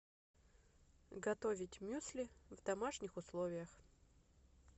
готовить мюсли в домашних условиях